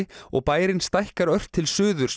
og bærinn stækkar ört til suðurs með